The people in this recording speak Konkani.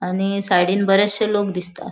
आणि सायडींन बरेचशे लोक दिसता.